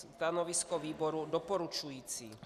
Stanovisko výboru doporučující.